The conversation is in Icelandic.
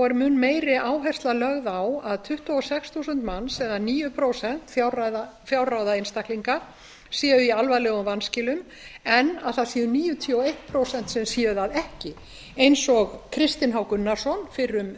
er mun meiri áhersla lögð á að tuttugu og sex þúsund manns eða níu prósent fjárráða einstaklinga séu í alvarlegum vanskilum en að það séu níutíu og eitt prósent sem séu það ekki eins og kristinn h gunnarsson fyrrum